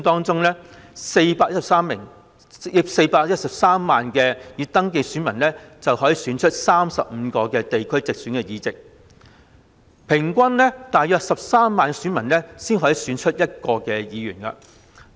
在地區直選中 ，413 萬名已登記選民可以選出35個地區直選的議席，即平均大約13萬名選民才可以選出1名議員。